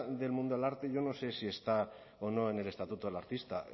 del mundo del arte yo no sé si está o no en el estatuto del artista